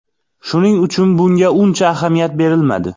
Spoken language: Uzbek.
Shuning uchun bunga uncha ahamiyat berilmadi.